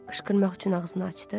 Qışqırmaq üçün ağzını açdı.